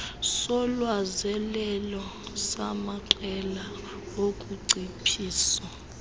solwazelelo samaqela okunciphisa